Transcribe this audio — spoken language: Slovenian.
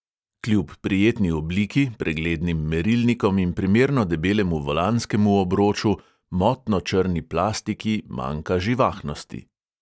Kljub prijetni obliki, preglednim merilnikom in primerno debelemu volanskemu obroču motno črni plastiki manjka živahnosti.